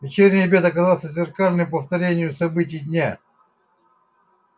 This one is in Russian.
вечерний обед оказался зеркальным повторением событий дня